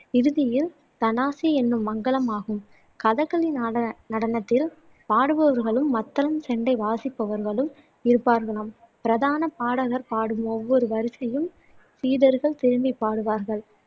இறுதியில் தனாசி என்னும் மங்களம் ஆகும் கதக்களி நடனத்தில் பாடுபவர்களும் மத்தளம் செண்டை வாசிப்பவர்களும் இருப்பார்களாம் பிரதான பாடகர் பாடும் ஒவ்வொரு வரிசையும் சீடர்கள் திருப்பிப் பாடுவார்கள்